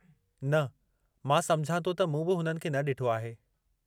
न, मां सम्झां थो त मूं बि हुननि खे न ॾिठो आहे।